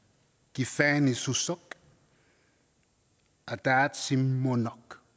kiffaanngissuseq ataatsimoorneq